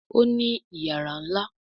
Òní iyàrá nlá.